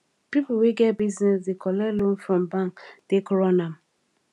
people wey get buisness dey collect loan from bank take run am